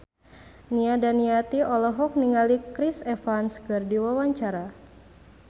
Nia Daniati olohok ningali Chris Evans keur diwawancara